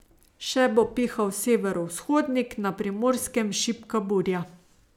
Še bo pihal severovzhodnik, na Primorskem šibka burja.